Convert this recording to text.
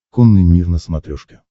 конный мир на смотрешке